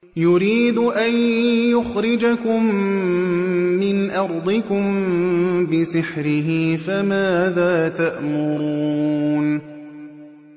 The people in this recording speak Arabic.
يُرِيدُ أَن يُخْرِجَكُم مِّنْ أَرْضِكُم بِسِحْرِهِ فَمَاذَا تَأْمُرُونَ